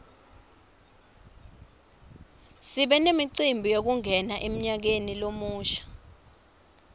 sibe nemicimbi yekungena emnyakeni lomusha